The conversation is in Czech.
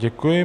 Děkuji.